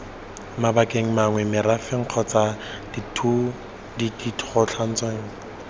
mabakeng mangwe merafe kgotsa ditlhotshwana